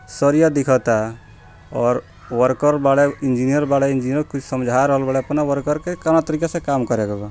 सरिया दिखता और वर्कर बाड़े इंजीनियर बाड़े इंजीनियर कुछ समझा रहल बाड़े अपना वर्कर के कवना तरीका से काम करेके बा।